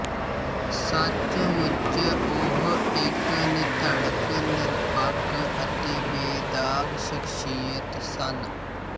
ਸੱਚਮੁੱਚ ਉਹ ਇੱਕ ਨਿਧੜਕ ਨਿਰਪੱਖ ਅਤੇ ਬੇਦਾਗ਼ ਸ਼ਖ਼ਸੀਅਤ ਸਨ